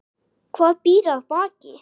Hvað býr að baki?